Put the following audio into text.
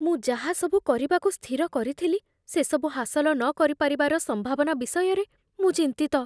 ମୁଁ ଯାହାସବୁ କରିବାକୁ ସ୍ଥିର କରିଥିଲି, ସେସବୁ ହାସଲ ନକରିପାରିବାର ସମ୍ଭାବନା ବିଷୟରେ ମୁଁ ଚିନ୍ତିତ